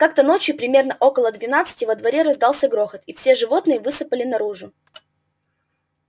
как-то ночью примерно около двенадцати во дворе раздался грохот и все животные высыпали наружу